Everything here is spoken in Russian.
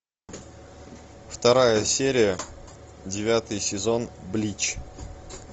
вторая серия девятый сезон блич